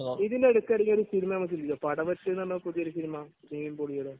നമ്മൾ ഇതിനിടക്ക് ഇറങ്ങിയ ഒരു സിനിമ നമുക്കുണ്ടല്ലോ. പടവെട്ട്‌ എന്ന് പറഞ്ഞ പുതിയൊരു സിനിമ? നിവിൻ പോളിയുടെ?